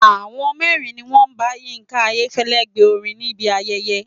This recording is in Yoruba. Àwọn mẹ́rin ni wọ́n bá Yínká Ayéfẹ́lẹ́ gbe orin níbi ayẹyẹ.